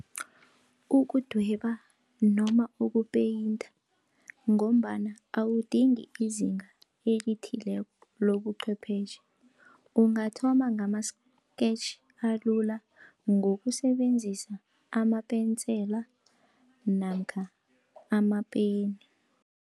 Ukudweba noma ukupeyinta, ngombana awudingi izinga elithileko lobuchwephetjhe, ungathoma ngama-scatch alula, ngokusebenzisa amapensela namkha amapeni.